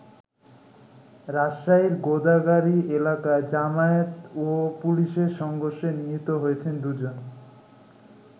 রাজশাহীর গোদাগাড়ী এলাকায় জামায়াত ও পুলিশের সংঘর্ষে নিহত হয়েছেন দু'জন।